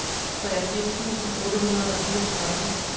treogfirs tusind otte hundrede og fireogtredive